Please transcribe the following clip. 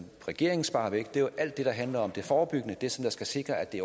regeringen sparer væk er alt det der handler om det forebyggende det som skal sikre at det